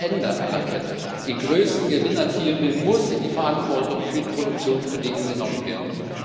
Wer am Ende einer Kette den größten Gewinn erzielen will, muss in die Verantwortung für die Produktionsbedingungen genommen werden.